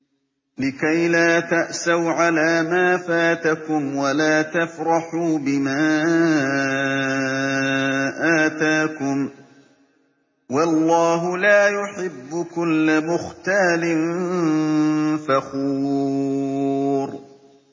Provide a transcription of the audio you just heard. لِّكَيْلَا تَأْسَوْا عَلَىٰ مَا فَاتَكُمْ وَلَا تَفْرَحُوا بِمَا آتَاكُمْ ۗ وَاللَّهُ لَا يُحِبُّ كُلَّ مُخْتَالٍ فَخُورٍ